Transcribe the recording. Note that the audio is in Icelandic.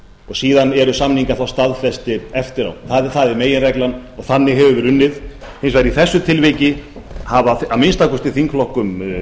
síðan eru samningar þá staðfestir eftir á það er meginreglan og þannig hefur verið unnið hins vegar í þessu tilviki hafa að minnsta kosti þingflokkum